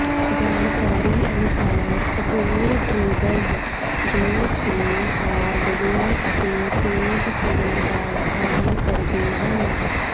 ਜਾਣਕਾਰੀ ਅਨੁਸਾਰ ਕਪੂਰ ਟਰੇਡਰਜ਼ ਜੋ ਕਿ ਹਾਰਡਵੇਅਰ ਅਤੇ ਪੇਂਟ ਸਟੋਰ ਦਾ ਕੰਮ ਕਰਦੇ ਹਨ